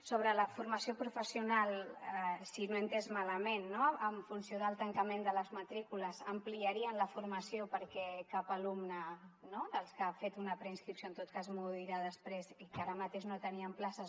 sobre la formació professional si no ho he entès malament en funció del tancament de les matrícules ampliarien la formació perquè cap alumne no dels que ha fet una preinscripció en tot cas m’ho dirà després i que no tenien places